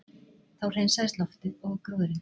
Þá hreinsaðist loftið og gróðurinn